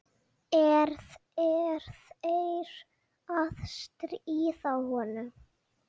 Er þeir að stríða honum?